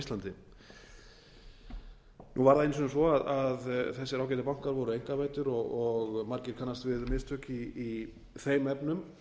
íslandi nú var það einu sinni svo að þessir ágætu bankar voru einkavæddir og margir kannast við mistök í þeim efnum